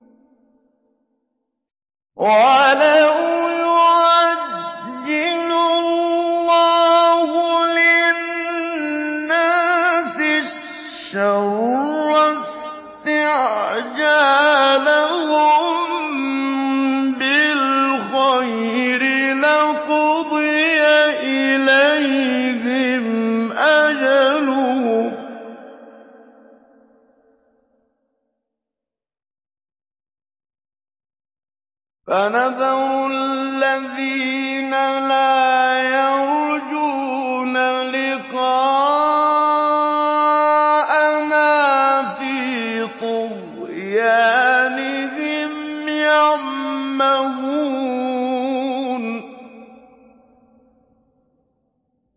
۞ وَلَوْ يُعَجِّلُ اللَّهُ لِلنَّاسِ الشَّرَّ اسْتِعْجَالَهُم بِالْخَيْرِ لَقُضِيَ إِلَيْهِمْ أَجَلُهُمْ ۖ فَنَذَرُ الَّذِينَ لَا يَرْجُونَ لِقَاءَنَا فِي طُغْيَانِهِمْ يَعْمَهُونَ